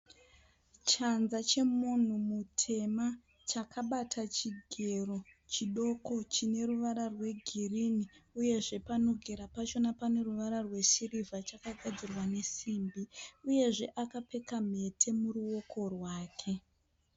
Chanza chemunhu mutema, chakabata chigero chikudu chineruvara rwegirinhi. Uyezve panogera pachona paneruvara rwesirivha chakagadzirwa nesimbi. Uyezve akapfeka nhete muruoko rwake.